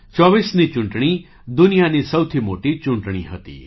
૨૪ની ચૂંટણી દુનિયાની સૌથી મોટી ચૂંટણી હતી